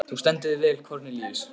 Þú stendur þig vel, Kornelíus!